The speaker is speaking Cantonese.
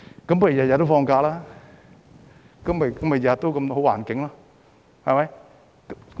如果天天也放假，豈不是天天也有好環境？